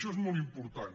això és molt important